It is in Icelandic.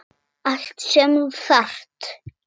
Allt sem þú þarft.